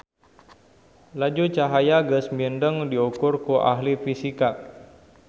Laju cahaya geus mindeng diukur ku ahli fisika.